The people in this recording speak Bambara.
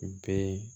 U bɛɛ